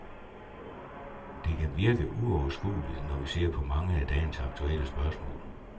Det kan virke uoverskueligt, når vi ser på mange af dagens aktuelle spørgsmål.